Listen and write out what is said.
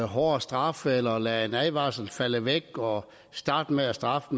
hårdere straffe eller at lade en advarsel falde væk og starte med at straffe